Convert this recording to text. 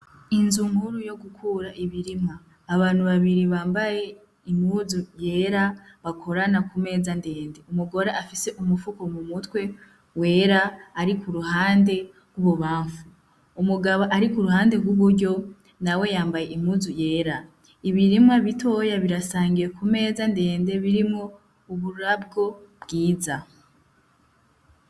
Inzu nkuru yo gukura ibirimwa abantu babiri bambaye imuzu yera bakorana ku meza ndende umugore afise umupfuko mu mutwe wera ari ku ruhande rw'ubo bamfu umugabo ari ku ruhande rw'uburyo na we yambaye imuzu yera ibirimwa bitoya birasangiye kume meza ndende birimo uburabwo bwiza.